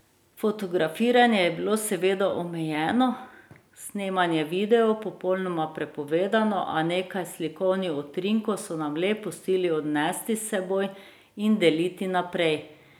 Fotografiranje je bilo seveda omejeno, snemanje videov popolnoma prepovedano, a nekaj slikovnih utrinkov so nam le pustili odnesti s seboj in deliti naprej.